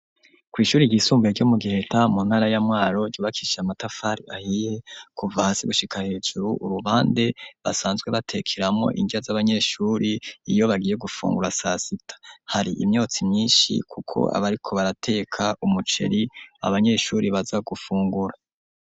Kw'ishuri ryisumbuye ryo mu giheta mu ntara ya mwaro ryubakishije amatafari ahiye kuva hasi gushika hejuru, uruhande basanzwe batekeramo inrya z'abanyeshure iyo bagiye gufungura sasita hari imyotsi myinshi kuko abariko barateka umuceri ,abanyeshure baza gufungura.